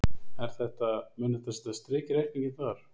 Er þetta, mun þetta setja strik í reikninginn þar?